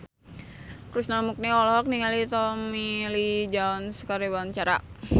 Krishna Mukti olohok ningali Tommy Lee Jones keur diwawancara